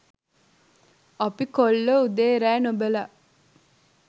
අපේ කොල්ලෝ උදේ රෑ නොබලා